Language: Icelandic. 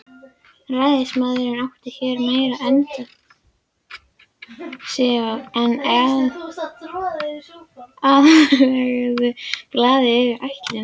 Ræðismaðurinn átti hér meira undir sér en Alþýðublaðið hafði ætlað.